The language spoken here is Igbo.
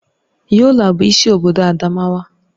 Yola bụ isi obodo Adamawa